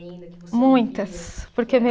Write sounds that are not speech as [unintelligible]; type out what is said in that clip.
que você. [unintelligible] Muitas porque [unintelligible]